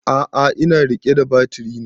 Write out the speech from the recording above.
A'a ina riƙe da batiri ne